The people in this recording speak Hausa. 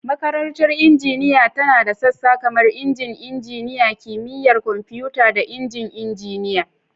Makarantar Injiniya tana da sassa kamar Injin Injiniya, Kimiyyar Kwamfuta, da Injin Injiniya.